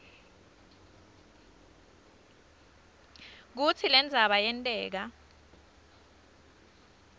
kutsi lendzaba yenteka